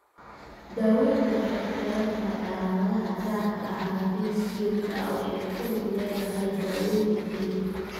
Daaweyntu waxay ku xiran tahay calaamadaha gaarka ah, laakiin si joogto ah waxay ku lug leedahay daaweynta jireed.